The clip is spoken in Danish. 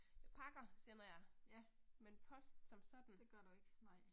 Pakker sender jeg, men post som sådan